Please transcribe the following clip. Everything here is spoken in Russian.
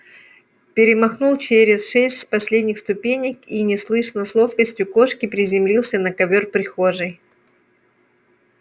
перемахнул через шесть последних ступенек и неслышно с ловкостью кошки приземлился на ковёр прихожей